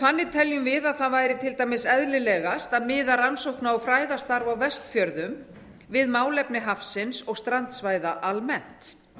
þannig teljum við að það væri til dæmis eðlilegast að miða rannsókna og fræðastarf á vestfjörðum við málefni hafsins og strandsvæða almennt